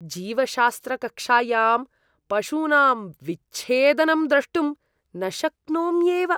जीवशास्त्रकक्षायां पशूनां विच्छेदनं द्रष्टुं न शक्नोम्येव।